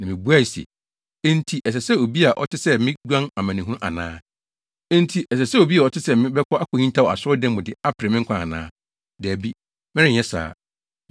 Na mibuae se, “Enti ɛsɛ sɛ obi a ɔte sɛ me guan amanehunu ana? Enti ɛsɛ sɛ obi a ɔte sɛ me bɛkɔ akohintaw Asɔredan mu de apere me nkwa ana? Dabi, merenyɛ saa!”